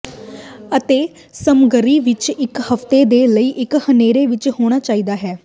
ਅੜੇ ਸਮੱਗਰੀ ਇੱਕ ਹਫ਼ਤੇ ਦੇ ਲਈ ਇੱਕ ਹਨੇਰੇ ਵਿੱਚ ਹੋਣਾ ਚਾਹੀਦਾ ਹੈ